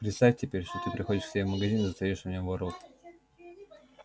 представь теперь что ты приходишь к себе в магазин и застаёшь в нем воров